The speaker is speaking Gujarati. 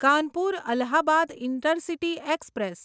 Kanpur Allahabad intercity express